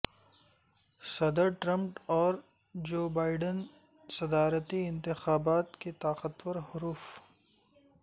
صدر ٹرمپ اور Joe Biden صدارتی انتخابات کے طاقتور حریف